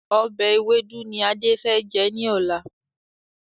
Ọbẹ̀ ewédú ni Adé fẹ jẹ́ ní ọ̀la.